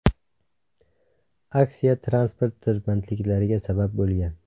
Aksiya transport tirbandliklariga sabab bo‘lgan.